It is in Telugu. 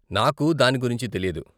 నాకు దాని గురించి తెలీదు.